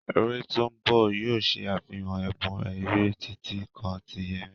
Eré tó ń bọ̀ yóò ṣe àfihàn ẹ̀bùn eré, títí kan ti Yemi.